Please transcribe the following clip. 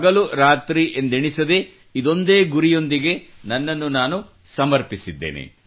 ಹಗಲು ರಾತ್ರಿ ಎಂದೆಣಿಸದೇ ಇದೊಂದೇ ಗುರಿಯೊಂದಿಗೆ ನನ್ನನ್ನು ನಾನು ಸಮರ್ಪಿಸಿದ್ದೇನೆ